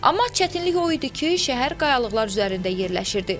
Amma çətinlik o idi ki, şəhər qayalıqlar üzərində yerləşirdi.